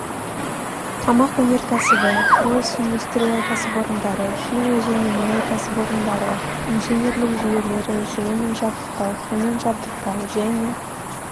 тамақ өнеркәсібі құрылыс индустрия кәсіпорындары химия және мұнай кәсіпорындары инженерлік жүйелері жылумен жабдықтау сумен жабдықтау және